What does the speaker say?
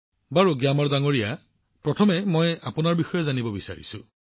প্ৰধানমন্ত্ৰীঃ প্ৰথমে মই আপোনাৰ বিষয়ে জানিব বিচাৰো